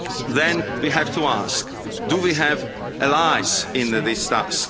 Then we have to ask do we have allies in this task?